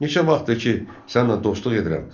Neçə vaxtdır ki, səninlə dostluq edirəm.